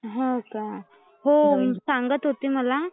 हो का? हो सांगत होती मला